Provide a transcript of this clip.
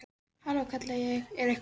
Halló, kalla ég, er einhver heima?